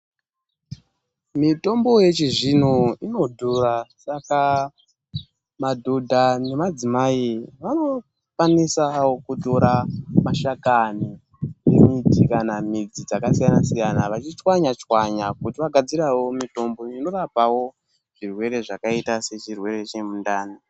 Mitombo yechizvino inodhura saka, madhodha nemadzimai vanokwanisawo kutora mashakani emiti kana midzi dzakasiyana-siyana vachichwanya-chwanya kuti vagadzirawo mitombo inorapawo, zvirwere zvakaita sechirwere chemundani.